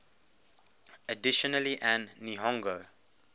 additionally an nihongo